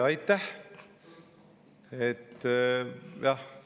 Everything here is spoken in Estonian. Aitäh!